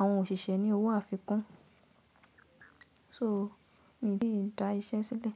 àwọn òṣìṣẹ́ ní owó àfikún. So, mi ò lè dá iṣẹ́ sílẹ̀